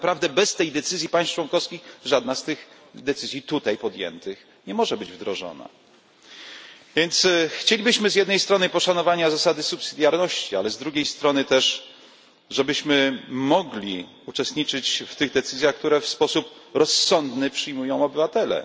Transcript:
Tak naprawdę bez tej decyzji państw członkowskich żadna z tych decyzji tutaj podjętych nie może być wdrożona, więc chcielibyśmy z jednej strony poszanowania zasady subsydiarności, ale z drugiej strony też żebyśmy mogli uczestniczyć w tych decyzjach, które w sposób rozsądny przyjmują obywatele.